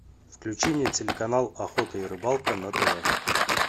включи мне телеканал охота и рыбалка на тв